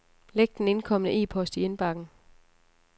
Læg den indkomne e-post i indbakken.